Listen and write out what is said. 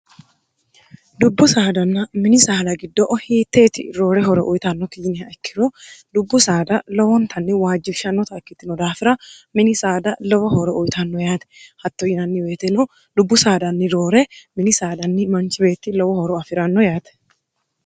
dubbu saadanna mini saada giddo'o hiitteeti roore horo uyitanno kijiniha ikkiro dubbu saada lowontanni waajjifshannota ikkittino daafira mini saada lowo hooro uyitanno yaate hatto yinanniweeteno lubbu saadanni roore mini saadanni manchi beetti lowo hooro afi'ranno yaate